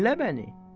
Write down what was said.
Dinlə məni.